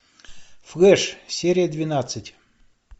флэш серия двенадцать